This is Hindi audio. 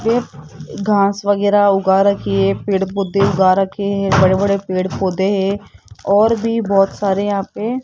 एक घास वगैरा उगा रखी है पेड़ पौधे उगा रखे हैं बड़े बड़े पेड़ पौधे हैं और भी बहोत सारे यहां पे --